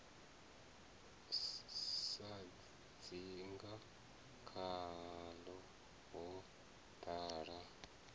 sa dzinga khaḽo ho ḓala